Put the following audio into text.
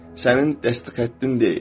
Sənin dəstə xəttin deyil.